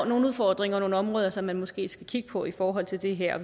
nogle udfordringer og nogle områder som man måske skal kigge på i forhold til det her og